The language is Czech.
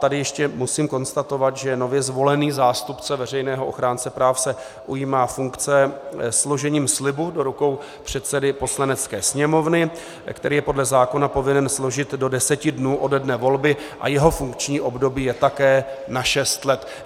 Tady ještě musím konstatovat, že nově zvolený zástupce veřejného ochránce práv se ujímá funkce složením slibu do rukou předsedy Poslanecké sněmovny, který je podle zákona povinen složit do deseti dnů ode dne volby, a jeho funkční období je také na šest let.